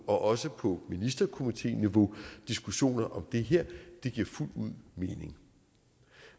også på ministerkomiténiveau diskussioner om det her det giver fuldt ud mening